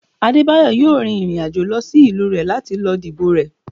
Adebayo yóò rín irín ajò lọ sí ìlú rẹ lati lo dibo rẹ